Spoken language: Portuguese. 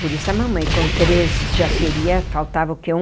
Por isso a mamãe com treze já seria... faltava o quê um?